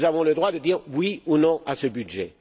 Nous avons le droit de dire oui ou non à ce budget.